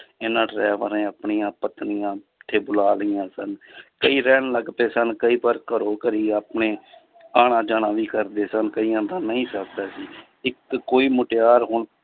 ਇਹਨਾਂ ਆਪਣੀਆਂ ਪਤਨੀਆਂ ਇੱਥੇ ਬੁਲਾ ਲਈਆਂ ਸਨ ਕਈ ਰਹਿਣ ਲੱਗ ਪਏ ਸਨ ਕਈ ਪਰ ਘਰੋ ਘਰੀ ਆਪਣੇ ਆਉਣਾ ਜਾਣਾ ਨਹੀਂ ਕਰਦੇ ਸਨ, ਕਈਆਂ ਦਾ ਨਹੀਂ ਸਰਦਾ ਸੀ ਇੱਕ ਕੋਈ ਮੁਟਿਆਰ ਹੁਣ